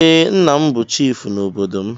Ee, nna m bụ chifu n'obodo m.